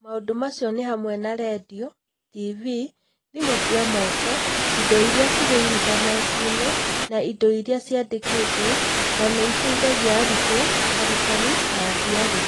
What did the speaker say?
Maũndũ macio nĩ hamwe na redio, TV, thimũ cia moko, indo iria irĩ Intaneti-inĩ, na indo iria ciandĩkĩtwo, na nĩ iteithagia arutwo, arutani, na aciari.